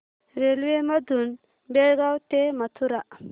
railway मधून बेळगाव ते मथुरा